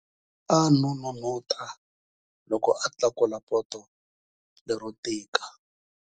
A n'unun'uta loko a tlakula poto lero tika.